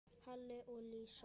Halli og Lísa.